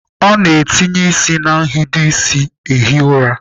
A na-adụsa ịsị na nhido ịsị ehi ụra.